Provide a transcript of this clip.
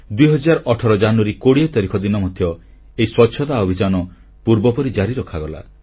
2018 ଜାନୁଆରୀ 20ତାରିଖ ଦିନ ମଧ୍ୟ ଏହି ସ୍ୱଚ୍ଛତା ଅଭିଯାନ ପୂର୍ବପରି ଜାରି ରଖାଗଲା